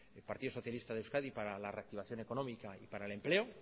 el partido socialista de euskadi para la reactivación económica y para el empleo